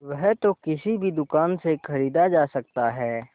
वह तो किसी भी दुकान से खरीदा जा सकता है